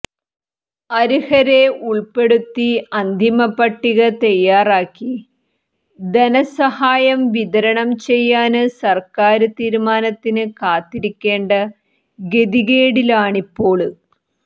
അര്ഹരെ ഉള്പ്പെടുത്തി അന്തിമ പട്ടിക തയ്യാറാക്കി ധനസഹായം വിതരണം ചെയ്യാന് സര്ക്കാര് തീരുമാനത്തിന് കാത്തിരിക്കേണ്ട ഗതികേടിലാണിപ്പോള്